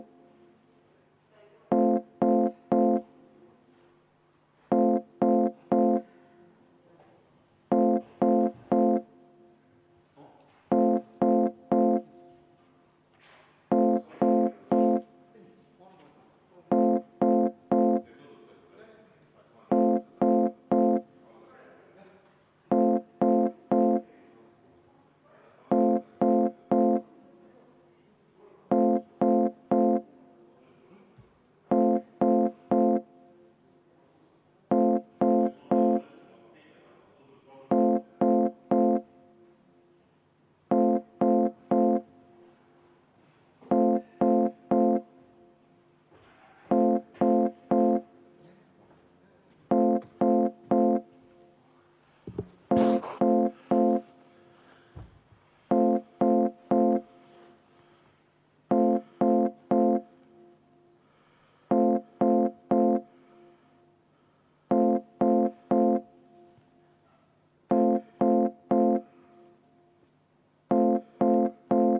V a h e a e g